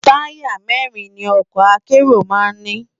Tàyá mèrin ni òkò àkéró má n ni